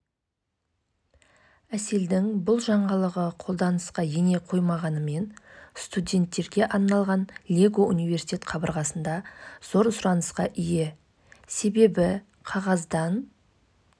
қыркүйек айында тағыда лондонда өткен олимпиададан кейін ильиннен қайтадан қайталап алынған допинг-сараптама үлгісі оң нәтиже берген